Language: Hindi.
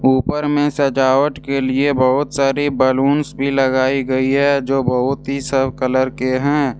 ऊपर में सजावट के लिए बहुत सारी बलूंस भी लगाई गई हैजो बहुत ही सब कलर के हैं।